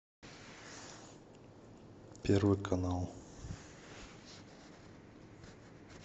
первый канал